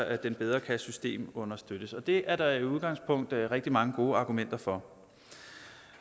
at den bedre kan systemunderstøttes og det er der i udgangspunktet rigtig mange gode argumenter for